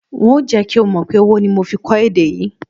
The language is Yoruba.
N óò jé̩ kí o mò̩ pé owó ni mo fi kó̩ èdè yìí